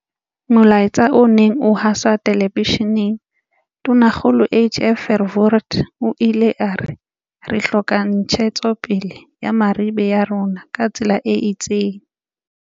Molaetseng o neng o haswa telebesheneng, Tonakgolo HF Verwoerd o ile a re, Re hloka ntshetsopele ya merabe ya rona ka tsela e itseng.